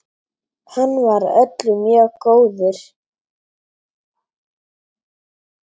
Hann var öllum mjög góður.